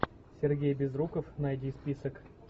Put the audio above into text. сергей безруков найди список